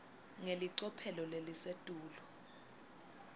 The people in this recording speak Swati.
ngelicophelo lelisetulu